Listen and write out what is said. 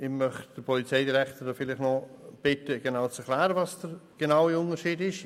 Ich bitte den Polizeidirektor, uns noch zu erklären, worin der Unterschied genau besteht.